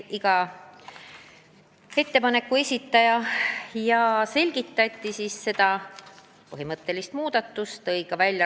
Iga ettepaneku esitaja selgitas oma mõtteid ja konkreetset põhimõttelist ettepanekut.